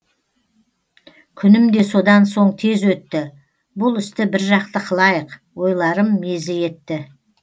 күнім де содан соң тез өтті бұл істі біржақты қылайық ойларым мезі етті